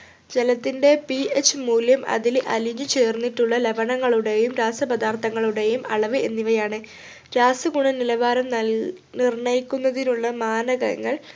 ജലത്തിൻ്റെ ph മൂല്യം അതിൽ അലിഞ്ഞു ചേർന്നിട്ടുള്ള ലവണങ്ങളുടെയും രാസപദാർത്ഥങ്ങളുടെയും അളവ് എന്നിവയാണ് രാസഗുണനിലവാരം നൽ നിർണയിക്കുന്നതിനുള്ള മാനദണ്ഡങ്ങൾ